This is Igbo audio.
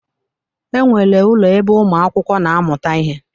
E nwere ụlọ ebe umu akwụkwọ na amuta ihe.